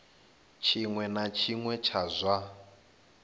tshiṅwe na tshiṅwe tsha zwa